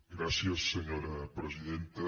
gràcies senyora presidenta